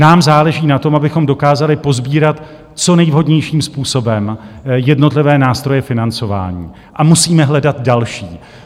Nám záleží na tom, abychom dokázali posbírat co nejvhodnějším způsobem jednotlivé nástroje financování a musíme hledat další.